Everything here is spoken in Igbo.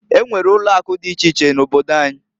E nwere ulo akụ di iche iche n'obodo anyi.